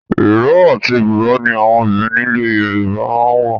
Ìró àti buba ni àwọn obìnrin nílè Yorùbá máa ń wò.